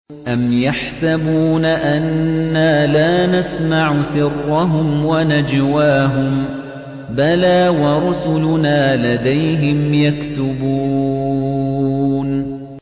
أَمْ يَحْسَبُونَ أَنَّا لَا نَسْمَعُ سِرَّهُمْ وَنَجْوَاهُم ۚ بَلَىٰ وَرُسُلُنَا لَدَيْهِمْ يَكْتُبُونَ